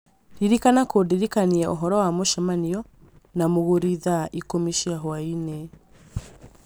Ririkana kũndirikania ũhoro wa mũcemanio na mũgũri thaa ikũmi cia hwaĩinĩ